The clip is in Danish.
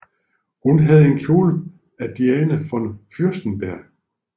Hun havde en kjole af Diane von Fürstenberg